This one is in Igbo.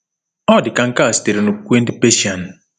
Ọ dị ka nke a sitere n’okwukwe ndị Persian.